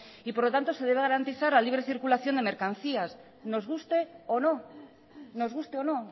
y por lo tanto se debe garantizar la libre circulación de mercancías nos guste o no nos guste o no